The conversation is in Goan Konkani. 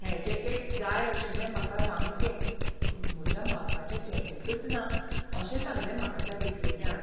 हें जॅकेट जाय आशिल्लें म्हाका सामकें पूण म्हज्या मापाचें जॅकेटच ना अशें सांगलें म्हाका त्या विक्रेत्यान.